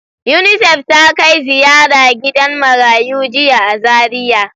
Unisef ta kai ziyara gidan marayu jiya a Zariya.